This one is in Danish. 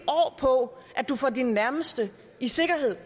på at du får dine nærmeste i sikkerhed